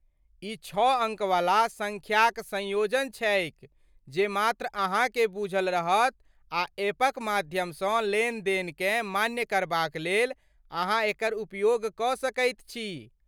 ई छओ अङ्क वला सङ्ख्याक संयोजन छैक जे मात्र अहाँकेँ बूझल रहत आ एपक माध्यमसँ लेनदेनकेँ मान्य करबाक लेल अहाँ एकर उपयोग कऽ सकैत छी।